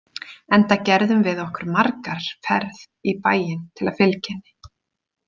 Enda gerðum við okkur margar ferð í bæinn til að fylgja henni.